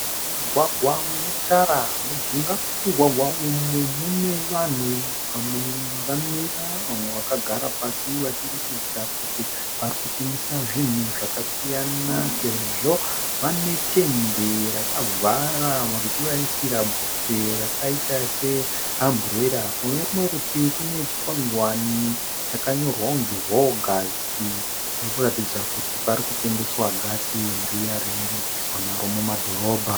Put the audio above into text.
Mugwagwa unetara. Mujinga memugwagwa umu mune vanhu vamwe vakamira vamwe vakagara pasi. Vachiratidza kuti varikutengesa zvinhu zvakasiyana sezvo vane tende rakavhara richivaisira bvute rakaita se amburera. Kunerumwe rutivi panechikwagwane chakanyorwa kuti rogasi kuratidza kuti parikutengeswa gasi riya rinobikiswa naro muma dhorobha